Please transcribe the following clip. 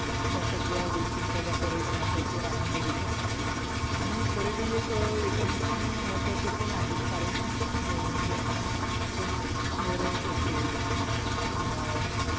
त्या सगळ्या गोष्टींचा त्या पर्यटनावरती आनंद घेत असतात आणि पर्यटन एक एका दृष्टीने महत्वाचे पण आहे कारण कि अं जेव्हा अह आपण नैराश्य होतो किंवा आह